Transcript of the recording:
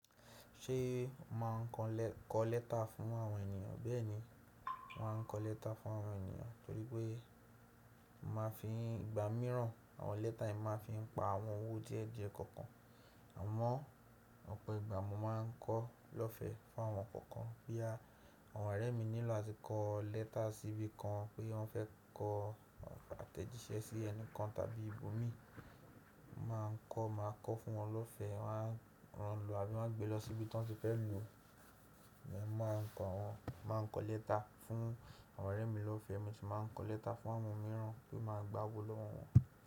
Ṣé màá ń kọ lẹ́tà fún àwọn ènìyàn, bẹ́ẹ̀ni, màá ń kọ lẹ́tà fún àwọn ènìyàn torí pé màá fi ìgbà mìíràn àwọn lẹ́tà yìí, màá fi ń pa àwọn owó díẹ̀díẹ̀ kọ̀ọ̀kan. Àmọ́ ọ̀pọ̀ ìgbà mo máa ń kọ lọ́fẹ̀ẹ́ fún àwọn kọ̀ọ̀kan. Bóyá àwọn ọ̀rẹ́ mi nílò láti kọ lẹ́tà síbi kan pé wọ́n fẹ́ kọ àtẹ̀jíṣẹ́ sí ẹni kan tàbí ibòmíì, màá ń kọ, màá kọ fún wọn lọ́fẹ̀ẹ́, wọ́n á lọ àbí wọ́n á gbé lọ síbi tí wọ́n ti fẹ́ lòó. Mọ́ màá ń kọ wọ́n, màá ń kọ lẹ́tà fún àwọn ọ̀rẹ́ mi lọ́fẹ̀ẹ́, mo sì máa ń kọ lẹ́tà fún àwọn mìíràn tí máa gbà owó lọ́wọ́ wọn.